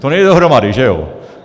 - To nejde dohromady, že jo?